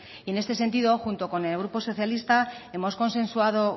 y en este sentido junto con el grupo socialista hemos consensuado